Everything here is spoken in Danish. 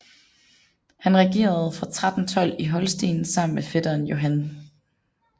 Han regerede fra 1312 i Holsten sammen med fætteren Johan 3